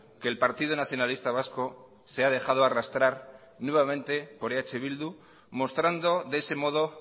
que el partido nacionalista vasco se ha dejado arrastrar nuevamente por eh bildu mostrando de ese modo